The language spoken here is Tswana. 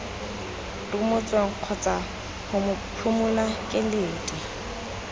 rumotsweng kgotsa ho mophimola keledi